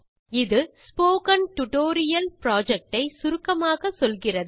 இது spoken tutorial project ஐ சுருக்கமாக சொல்லுகிறது